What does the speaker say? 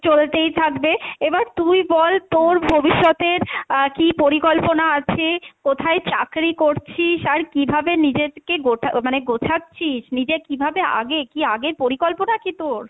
চলতেই থাকবে, এবার তুই বল তোর ভবিষ্যতের আহ কী পরিকল্পনা আছে, কোথায় চাকরি করছিস আর কীভাবে নিজের কে গোছা মানে গোছাচ্ছিস? নিজে কীভাবে আগে কী আগের পরিকল্পনা কী তোর?